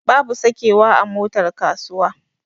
Babu sakewa a motar kasuwa.